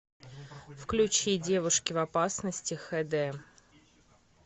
включи девушки в опасности хд